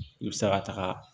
I bɛ se ka taga